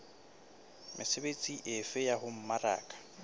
mesebetsi efe ya ho mmaraka